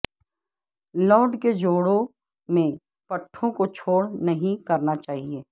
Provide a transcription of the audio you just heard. load کے جوڑوں میں پٹھوں کو چھوڑ نہیں کرنا چاہیے